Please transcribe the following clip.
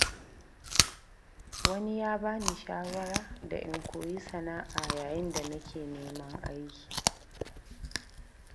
Wani ya ba ni shawara da in koyi sana’a yayin da nake neman aiki.